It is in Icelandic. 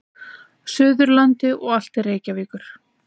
Suðurlandi og allt til Reykjavíkur.